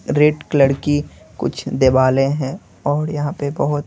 red colour की कुछ देवाले हैं और यहां पे बहुत--